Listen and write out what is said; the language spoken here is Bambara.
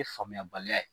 Ye faamuyabaliya ye